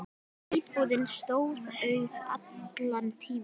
Íbúðin stóð auð allan tímann.